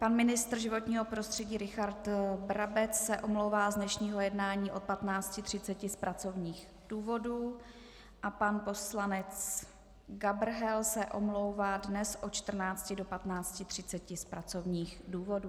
Pan ministr životního prostředí Richard Brabec se omlouvá z dnešního jednání od 15.30 z pracovních důvodů a pan poslanec Gabrhel se omlouvá dnes od 14 do 15.30 z pracovních důvodů.